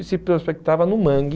E se prospectava no mangue.